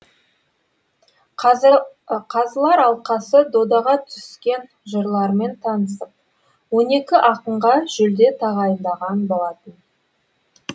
қазылар алқасы додаға түскен жырлармен танысып он екі ақынға жүлде тағайындаған болатын